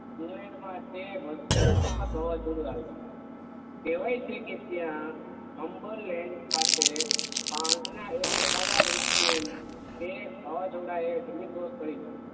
England માં તે બધે વાવાઝોડુંઆવ્યું કેવાય છે કે ત્યાં ખાતે પાંજના એક ઘટાદાર વૃક્ષ ને તે વાવાઝોડુંએ જમીન દોષ કરી નાખીયું